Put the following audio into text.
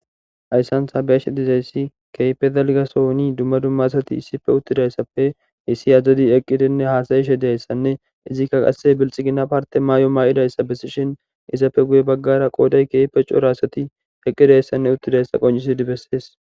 Ayssantha beesh dizayssi keype dalgasohoni dumma dumma sati issife uttidayssappe issi azdadi eqqidenne haasayishe dayssanne izikka qase bilxigina parte maay7o maa7idayssa bessishin izappe guye baggara qooday keepe cora asati eqqidayssanne uttidayssa qoncisi dibessees